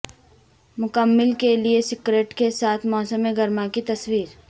مکمل کے لئے سکرٹ کے ساتھ موسم گرما کی تصویر